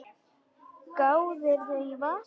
Gáðirðu í vasana?